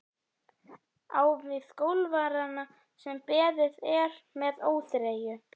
Á við golfarana sem beðið er með óþreyju.